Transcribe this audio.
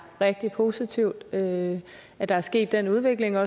rigtig positivt at at der er sket den udvikling og